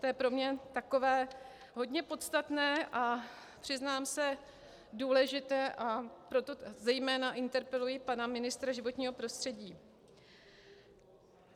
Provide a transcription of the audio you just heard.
To je pro mě takové hodně podstatné a přiznám se, důležité, a proto zejména interpeluji pana ministra životního prostředí.